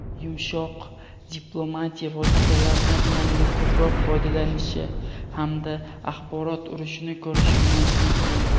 yumshoq diplomatiya vositalaridan yanada ko‘proq foydalanishi hamda axborot urushini ko‘rishimiz mumkin.